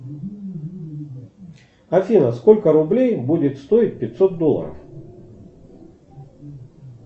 афина сколько рублей будет стоить пятьсот долларов